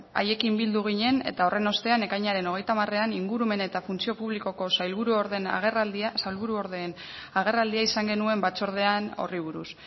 haiekin bildu ginen eta horren ostean ekainaren hogeita hamarean ingurumen eta funtzio publikoko sailburuordeen agerraldia izan genuen batzordean horri buruz